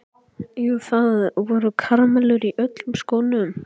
Jú, það voru karamellur í öllum skónum.